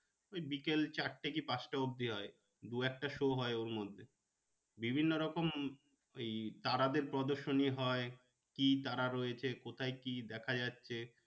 ওই বিকাল চারটে কি পাঁচটা অবধি হয়। দু একটা show হয় ওর মধ্যে। বিভিন্ন রকম ওই তারাদের পদর্শনী হয়। কি তারা রয়েছে কোথায় কি দেখা যাচ্ছে।